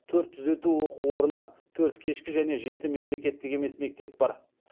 төрт түзету оқу орны төрт кешкі және жеті мемлекеттік емес мектеп бар